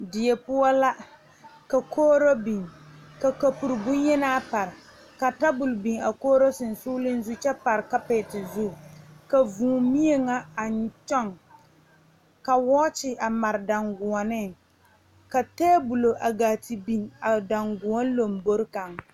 Die poɔ la ka kogro biŋ ka kaporo bon yenaa pare ka tabol biŋ a kogro sonsogle kyɛ pare kapeɛti zu ka vūū mie kaŋa a kyoŋ a woɔker mare dangɔɔne ka tabolɔ a gaa te biŋ a dangɔɔne lanboɔre kaŋ.